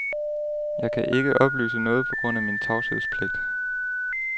Jeg kan ikke oplyse noget på grund af min tavshedspligt.